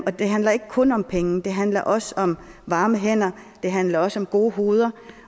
og det handler ikke kun om penge det handler også om varme hænder det handler også om gode hoved